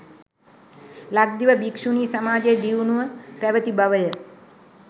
ලක්දිව භික්‍ෂුණි සමාජය දියුණුව පැවැති බවය.